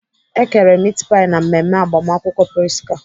E kere mit pai na mmemme agbamakwụkwọ Prisca.